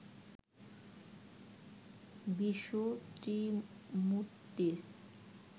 Vishnu ত্রিমূর্তির